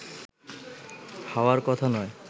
হওয়ার কথা নয়